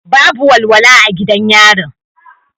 Babu walwala a gidan yarin.